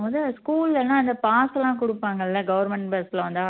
மொத school ல pass எல்லாம் கொடுப்பாங்கல்ல government bus ல வந்தா